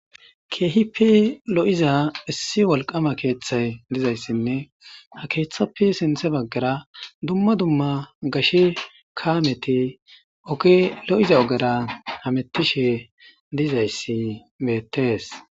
ke'hipe lo'iza issi wolqqama keeththay dizayssinne ha keeththappe siinththe baggara dumma dumma gashshe kaameti oge lo'iza ogara hamettishe dizayssi beettees